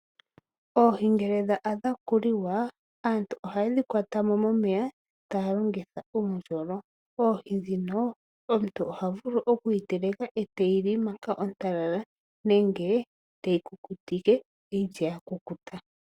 Oohi ngele dha adha okuliwa aantu ohaye dhi kwata mo momeya taya longitha uundjolo. Oohi ndhino omuntu oha vulu okuyi teleka eteyi li manga yili ontalala nenge teyi kukutike ye eyi lye ya kukuta.